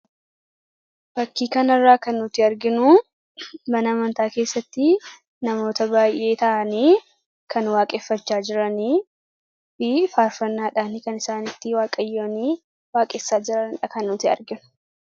Fakkii kana irraa kan nuti arginu mana amantaa keessatti namoota baay'ee ta'anii kan waaqeffachaa jiranifi faarfannaadhaani kan isaan ittin Waaqayyooni waaqessaa jiranidha kan nuti arginu.